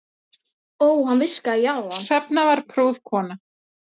Hrefna var prúð kona.